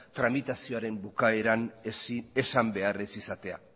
tramitazioaren bukaeran esan behar ez izatea